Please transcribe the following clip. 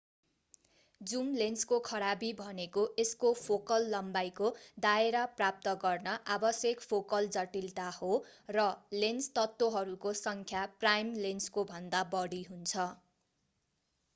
zoom लेन्सको खराबी भनेको यसको फोकल लम्बाईको दायरा प्राप्त गर्न आवश्यक फोकल जटिलता हो र लेन्स तत्वहरूको सङ्ख्या प्राइम लेन्सकोभन्दा बढी हुन्छ